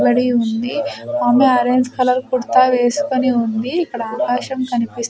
బడి ఉంది ఆమె ఆరెంజ్ కలర్ కుర్తా వేసుకొని ఉంది ఇక్కడ ఆకాశం కనిపిస్--